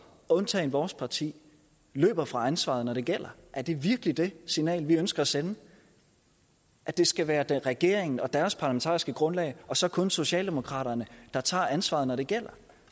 undtagen vores parti løber fra ansvaret når det gælder er det virkelig det signal vi ønsker at sende at det skal være regeringen og deres parlamentariske grundlag og så kun socialdemokraterne der tager ansvaret når det gælder